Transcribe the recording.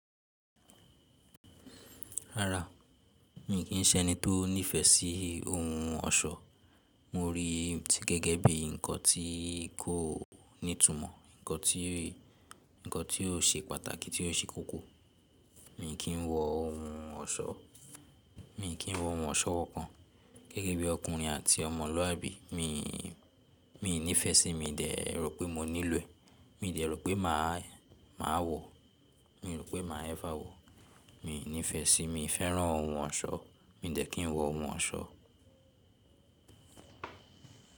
Rárá, mì kí ń ṣẹni tó nífẹ̀ẹ́ sí ohun ọ̀ṣọ́. Mo rí i gẹ́gẹ́ bí nǹkan tí kò ní ìtumọ̀, nǹkan tí kò ṣe pàtàkì, tí kò ṣe kókó. Mì kí ń wọ ohun ọ̀ṣọ́. Mì kí ń wọ ohun ọ̀ṣọ́wọ́ kankan gẹ́gẹ́ bí ọkùnrin àti ọmọlúàbí. Mì nífẹ̀ẹ́ sí, mi n dẹ̀ rò pé mo nílò ẹ̀, mi ò dẹ̀ rò pé màá wọ, mi ò rò pé màá ever wọ. Mì nífẹ̀ẹ́ sí, mi fẹ́ràn ohun ọ̀ṣọ́, mi n dẹ̀ kí ń wọ ohun ọ̀ṣọ́